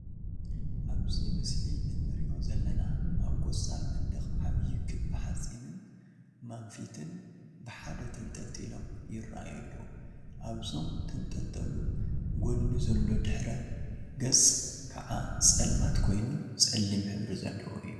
አብዚ ምስሊ እንሪኦ ዘለና አብ ቆፃል መንደቅ ዓብይ ክቢ ሓፂንን ማንፊትን ብሓደ ተንጠልጢሎም ይረአዩ አለው፡፡ አብዞም ተንጠልጠሉ ጎኒ ዘሎ ድሕረ ገፅ ከዓ ፀልማት ኮይኑ ፀሊም ሕብሪ ዘለዎ እዩ፡፡